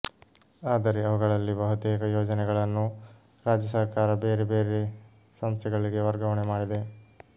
ಆದರೆ ಅವುಗಳಲ್ಲಿ ಬಹುತೇಕ ಯೋಜನೆಗಳನ್ನು ರಾಜ್ಯಸರ್ಕಾರ ಬೇರೆ ಬೇರೆ ಸಂಸ್ಥೆಗಳಿಗೆ ವರ್ಗಾವಣೆ ಮಾಡಿದೆ